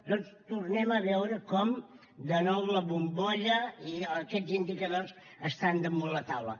doncs tornem a veure com de nou la bombolla i aquests indicadors estan damunt la taula